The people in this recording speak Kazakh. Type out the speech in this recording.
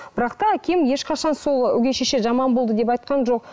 бірақ та әкем ешқашан сол өгей шеше жаман болды деп айтқан жоқ